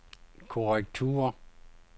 korrektur